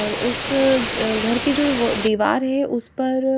और उस अ घर की जो दीवार है उस पर--